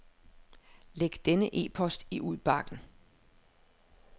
Læg denne e-post i udbakken.